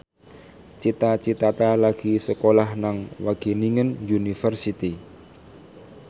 Cita Citata lagi sekolah nang Wageningen University